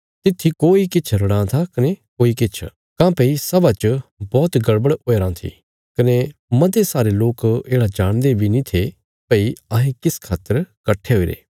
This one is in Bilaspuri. तित्थी कोई किछ रड़ां था कने कोई किछ काँह्भई सभा च बौहत गड़बड़ हुईराँ थी कने मते सारे लोक येढ़ा जाणदे बी नीं थे भई अहें किस खातर कट्ठे हुईरे